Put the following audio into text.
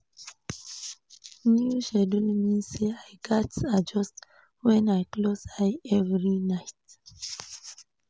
New schedule mean say I gats adjust when I close eye every night.